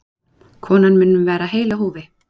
Konan mun vera heil á húfi